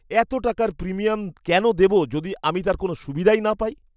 এত টাকার প্রিমিয়াম কেন দেব যদি আমি তার কোন সুবিধাই না পাই?